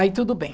Aí tudo bem.